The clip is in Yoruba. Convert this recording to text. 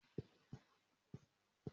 Máa gba ọmọ tọ́ ni ọjọ́ iwájú